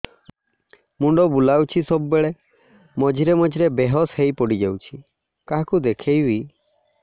ମୁଣ୍ଡ ବୁଲାଉଛି ସବୁବେଳେ ମଝିରେ ମଝିରେ ବେହୋସ ହେଇ ପଡିଯାଉଛି କାହାକୁ ଦେଖେଇବି